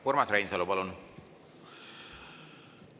Urmas Reinsalu, palun!